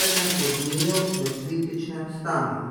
eden od njiju v kritičnem stanju.